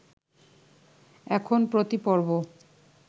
এখন প্রতি পর্ব